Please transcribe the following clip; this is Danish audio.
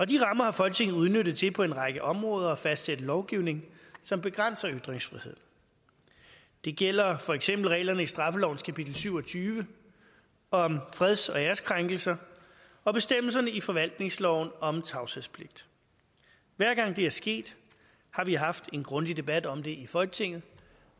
de rammer har folketinget udnyttet til på en række områder at fastsætte lovgivning som begrænser ytringsfriheden det gælder for eksempel reglerne i straffelovens kapitel syv og tyve om freds og æreskrænkelser og bestemmelserne i forvaltningsloven om tavshedspligt hver gang det er sket har vi haft en grundig debat om det i folketinget